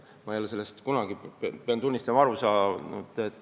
Ma ei ole sellest kunagi, pean tunnistama, aru saanud.